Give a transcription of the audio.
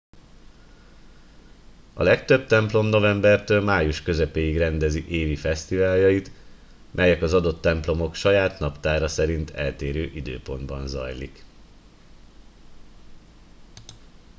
a legtöbb templom novembertől május közepéig rendezi évi fesztiváljait melyek az adott templomok saját naptára szerint eltérő időpontban zajlik